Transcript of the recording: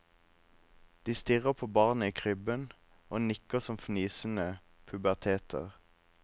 De stirrer på barnet i krybben og nikker som fnisende puberteter.